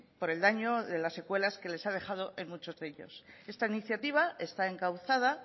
por el daño de las secuelas que les ha dejado a muchos de ellos esta iniciativa está encauzada